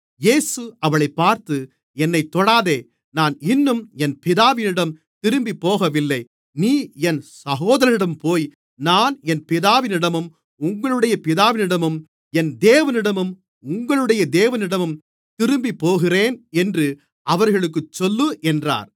இயேசு அவளைப் பார்த்து என்னைத் தொடாதே நான் இன்னும் என் பிதாவினிடம் திரும்பிப்போகவில்லை நீ என் சகோதரர்களிடம்போய் நான் என் பிதாவினிடமும் உங்களுடைய பிதாவினிடமும் என் தேவனிடமும் உங்களுடைய தேவனிடமும் திரும்பிப்போகிறேன் என்று அவர்களுக்குச் சொல்லு என்றார்